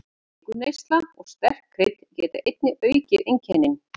Sykurneysla og sterk krydd geta einnig aukið einkennin.